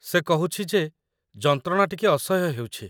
ସେ କହୁଛି ଯେ ଯନ୍ତ୍ରଣା ଟିକେ ଅସହ୍ୟ ହେଉଛି